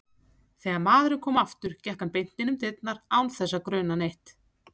Þegar maðurinn kom aftur gekk hann beint inn um dyrnar án þess að gruna neitt.